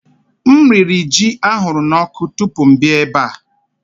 M riri ji a huru n'ọkụ tupu m abịa ebe a